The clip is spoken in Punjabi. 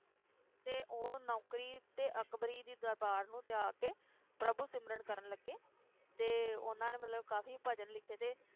ਤੇ ਉਹ ਨੌਕਰੀ ਤੇ ਅਕਬਰੀ ਦੀ ਦਰਬਾਰ ਨੂੰ ਤਿਆਗ ਕੇ ਪ੍ਰਭੂ ਸਿਮਰਨ ਕਰਨ ਲੱਗੇ ਤੇ ਉਹਨਾਂ ਨੇ ਮਤਲਬ ਕਾਫੀ ਭਜਨ ਲਿਖੇ ਤੇ